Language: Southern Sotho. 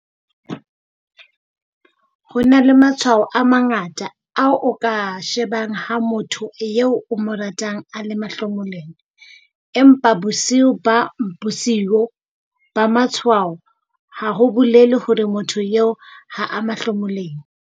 Ho na le matshwao a mangata ao o ka a shebang ha motho eo o mo ratang a le mahlomoleng, empa busio ba bosio, matshwao ha bo bolele hore motho eo ha a mahlomoleng.